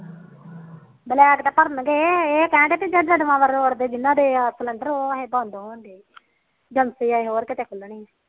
black ਤਾ ਭਰਨਗੇ ਇਹ ਕਹਿਦੇ ਬੇ ਜਿਨ੍ਹਾ ਦੇ ਕਲਮਾ ਰੋਡ ਤੇ ਉਹ ਬੰਦ ਹੋਣਗੇ ਏਜੰਸੀ ਇਹ ਹੋਰ ਕਿਤੇ ਖੁਲਣੀ